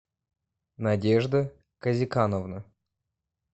надежда казикановна